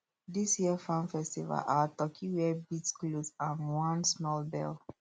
this year farm festival our turkey wear beads cloth and one small bell